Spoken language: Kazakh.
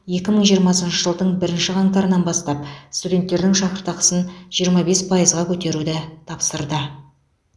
екі мың жиырмасыншы жылдың бірінші қаңтарынан бастап студенттердің шәкіртақысын жиырма бес пайызға көтеруді тапсырды